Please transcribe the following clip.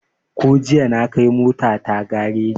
Ko jiya na kai mota ta gareji